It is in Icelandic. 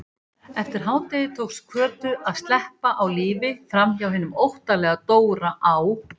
Eftir hádegi tókst Kötu að sleppa á lífi framhjá hinum óttalega Dóra á